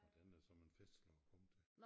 Og den er såmænd festlig at komme til